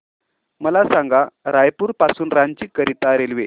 मला सांगा रायपुर पासून रांची करीता रेल्वे